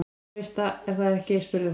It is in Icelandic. Þú veist það, er það ekki spurði hún.